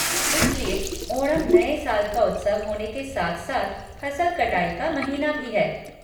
इसलिए ओणम नए साल का उत्सव होने के साथ साथ फसल कटाई का महीना भी है।